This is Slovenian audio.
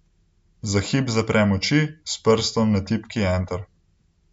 Za hip zaprem oči, s prstom na tipki enter.